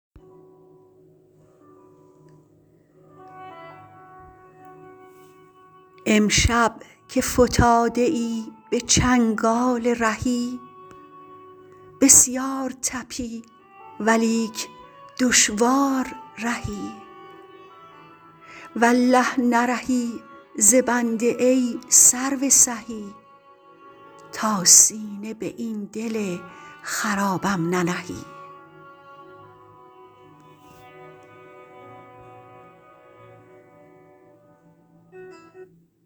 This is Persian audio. امشب که فتاده ای به چنگال رهی بسیار طپی ولیک دشوار رهی والله نرهی ز بنده ای سرو سهی تا سینه به این دل خرابم ننهی